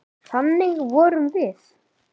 Þannig vorum við.